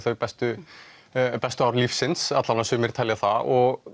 bestu bestu ár lífsins eða sumir telja það og